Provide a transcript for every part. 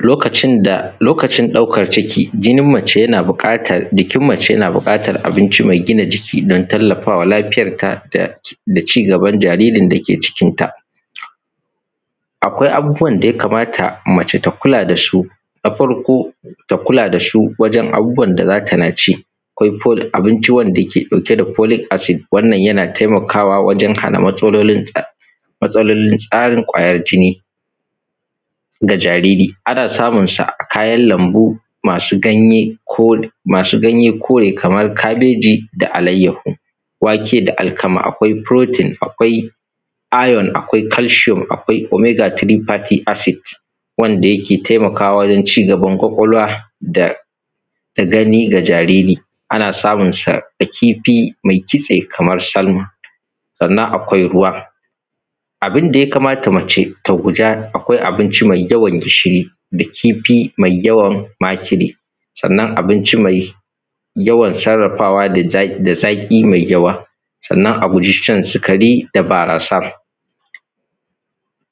Lokacin da lokacin ɗaukan ciki, jinin mace yana buƙatar jikin mace yana buƙatar abinci mai gina jiki dan tallafawa lafiyanta da cigaban jaririn dake cikin ta. AKwai abubuwan da yakamata mace ta kula dasu na farko. Ta kula dasu wajen abubuwan da zatana ci akwai wanda ke ɗauke da folik asid wannan yana taimakawa wajen matsalolin tsarin kwayan jini ga jariri. Ana samunsa a kayan lambu masu ganye kore Kaman kabeji da alayyahu, wake da alkama. Akwai furotin, akwai ayon, akwai kalshiyom, akwai omegatirifati asid wanda ke taimakawa wajen cigaban kwqakwalwa da gani ga jariri. Ana samun sa a kifi mai kitse Kaman salma. Sannan kwai ruwa, abunda ya kamata ta guda akwai abinci mai yawan gishiri, da kifi mai makire, sannan abinci mai yawan sarrafawa da zaƙi mai yawa. Sannan a guji shan sikari da barasa,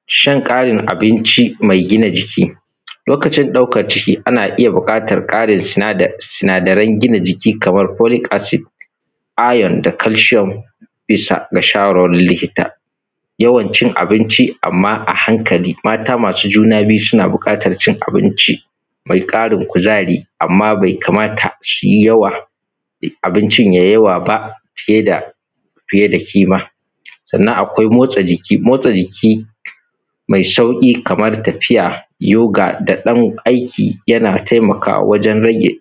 shan ƙarin abinci mai gina jiki lokacin ɗaukan ciki ana iya buƙatan ƙarin sinadarin gina giki kamar folik acid, ayon da kalshiyom bisa da shawarwarin likita. Yawancin acinci amma a hankali mata masu juna biyu suna buƙatan cin abinci mai ƙarin kuzari, amma bai kamata abincin yayi yaw aba saida fiye da ƙima. Sannan akwai motsa jiki mai sauƙi Kaman tafiya, yoga da ɗan aiki yana taimakawa wajen rage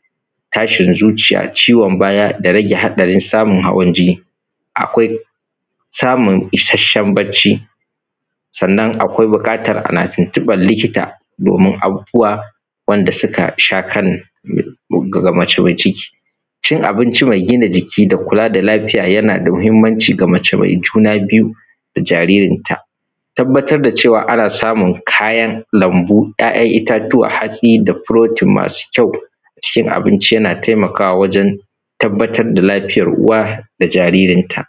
tashin zuciya ciwon baya da rage haɗarin samun hawan jini. Akwai samun isashshen bacci sannan akwai buƙatan ana tuntunɓan likita domin abubuwan da suka shakan mace mai ciki. Cin abin mai gina jiki da kula da laliya yanada mahimmanci ga mace mai juna biyu da jaririnta, tabba tarda cewa ana samun kayan lanmbu ‘ya’ ‘yan’ ittatuwa hatsi da furotin masu kyau cikin abinci yana taimakawa wajen tabbatar da lafiyan uwa da jaririnta.